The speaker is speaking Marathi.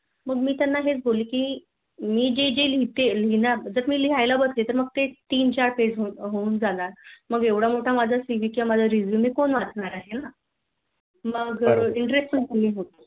मी त्याना हेच म्हटलं कि मी जे जे केले ते लिहयला बसेल तर तर ते तीन चार Page होऊन जाणार मग एवढा मोठा माझा CVResume कोण वाचणार आहे ना मग मग